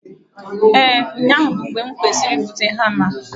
Ee, ụnyahụ bụ mgbe m kwesịrị ịbụta hama